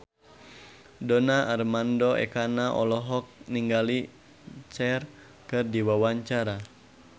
Donar Armando Ekana olohok ningali Cher keur diwawancara